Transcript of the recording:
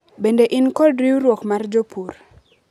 bende in kod riwruok ma jopur